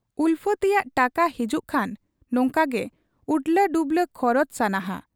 ᱩᱞᱯᱷᱟᱹᱛᱤᱭᱟᱟᱹ ᱴᱟᱠᱟ ᱦᱤᱡᱩᱜ ᱠᱷᱟᱱ ᱱᱚᱝᱠᱟᱜᱮ ᱩᱰᱽᱞᱟᱹᱰᱩᱵᱽᱞᱟᱹ ᱠᱷᱚᱨᱚᱪ ᱥᱟᱜᱱᱟᱦᱟ ᱾